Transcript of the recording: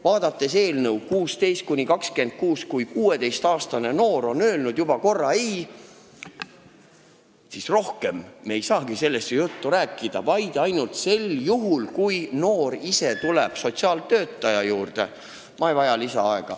Vaadake, eelnõus räägitakse 16–26-aastastest ja kui 16-aastane noor on juba korra ei öelnud, siis me ei saagi ju temaga sellest rohkem juttu teha – ainult sel juhul, kui ta ise sotsiaaltöötaja juurde tuleb.